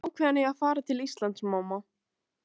Ég er ákveðinn í að fara til Íslands, mamma.